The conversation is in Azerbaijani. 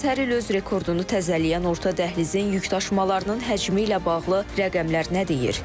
Bəs hər il öz rekordunu təzələyən orta dəhlizin yükdaşımalarının həcmi ilə bağlı rəqəmlər nə deyir?